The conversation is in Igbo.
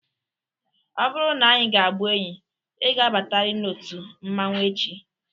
Ọ bụrụ n'anyị ga-abụ enyi, ị ga abatarir n'otu mmanwu echi!